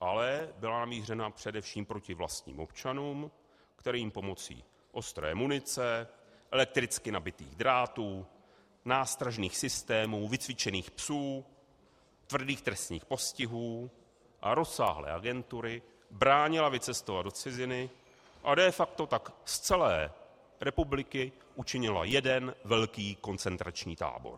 ale byla namířena především proti vlastním občanům, kterým pomocí ostré munice, elektricky nabitých drátů, nástražných systémů, vycvičených psů, tvrdých trestních postihů a rozsáhlé agentury bránila vycestovat do ciziny a de facto tak z celé republiky učinila jeden velký koncentrační tábor.